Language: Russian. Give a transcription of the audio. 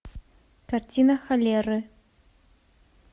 картина холеры